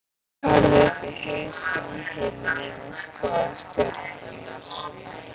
Birkir horfði upp í heiðskíran himininn og skoðaði stjörnurnar.